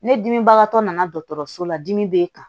Ne dimibagatɔ nana dɔgɔtɔrɔso la dimi b'e kan